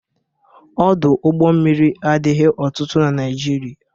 Ọdụ ụgbọ mmiri adịghị ọtụtụ na Naịjirịa.